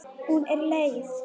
Hún er leið.